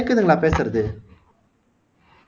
கேக்குதுங்களா பேசுறது